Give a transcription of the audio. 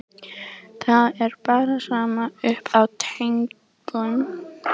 Það er bara sama upp á teningnum.